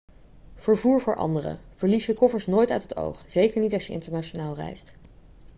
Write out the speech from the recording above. vervoer voor anderen verlies je koffers nooit uit het oog zeker niet als je internationaal reist